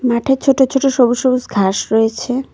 মাঠে ছোট ছোট সবুজ সবুজ ঘাস রয়েছে।